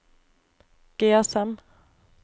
GSM